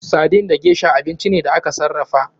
Sardin da gesha abinci ne da aka sarrafa.